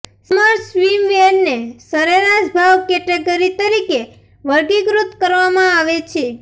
summer સ્વિમવેરને સરેરાશ ભાવ કેટેગરી તરીકે વર્ગીકૃત કરવામાં આવે છે